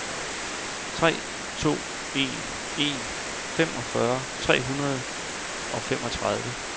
tre to en en femogfyrre tre hundrede og femogtredive